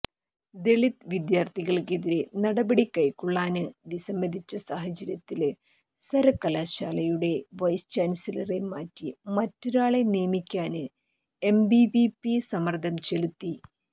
ദളിത് വിദ്യാര്ഥികള്ക്കെതിരെ നടപടി കൈക്കൊള്ളാന് വിസമ്മതിച്ച സാഹചര്യത്തില് സര്വകലാശാലയുടെ വൈസ്ചാന്സലറെ മാറ്റി മറ്റൊരാളെ നിയമിക്കാന് എബിവിപി സമ്മര്ദം ചെലുത്തി